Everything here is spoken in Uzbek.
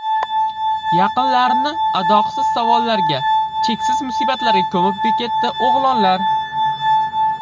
Yaqinlarini adoqsiz savollarga, cheksiz musibatlarga ko‘mib ketdi o‘g‘lonlar.